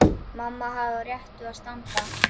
Mamma hafði á réttu að standa.